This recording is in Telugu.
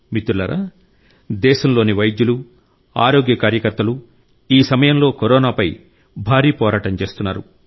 మిత్రులారా దేశంలోని వైద్యులు ఆరోగ్య కార్యకర్తలు ఈ సమయంలో కరోనాపై భారీ పోరాటం చేస్తున్నారు